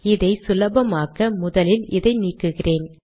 இதை சுலபமாக்க முதலில் இதை நீக்குகிறேன்